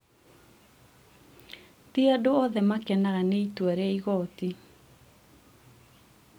ti andũ othe makenaga nĩ itua rĩa igooti